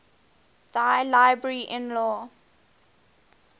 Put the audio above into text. thy liberty in law